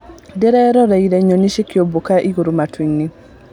Ndĩrararorire nyoni cikĩũmbũka igũrũ matuinĩ.